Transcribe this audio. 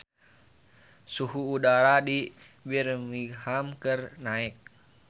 Suhu udara di Birmingham keur naek